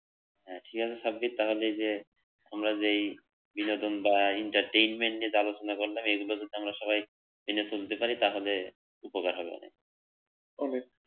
হ্যাঁ ঠিক আছে সাব্বির, তাহলে এই যে আমরা যেই বিনোদন বা entertainment নিয়ে আলোচনা করলাম এগুলোকে আমরা যদি সবাই টেনে তুলতে পারি তাহলে উপকার হবে অনেক